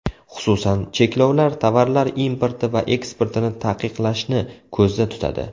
Xususan, cheklovlar tovarlar importi va eksportini taqiqlashni ko‘zda tutadi.